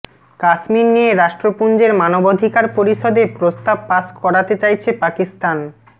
কাশ্মীর নিয়ে রাষ্ট্রপুঞ্জের মানবাধিকার পরিষদে প্রস্তাব পাশ করাতে চাইছে পাকিস্তান